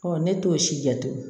ne t'o si jate